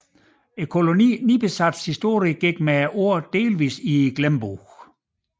Kolonien Nipisats historie gik med årene delvis i glemmebogen